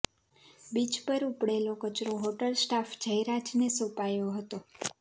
beach પર ઉપડેલો કચરો હોટલ સ્ટાફ જ્યરાજને સોંપાયો હતો